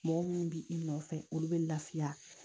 Mɔgɔ minnu bi i nɔfɛ olu bɛ lafiya